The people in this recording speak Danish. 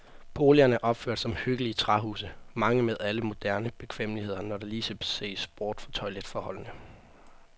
Boligerne er opført som hyggelige træhuse, mange med alle moderne bekvemmeligheder, når der lige ses bort fra toiletforholdene.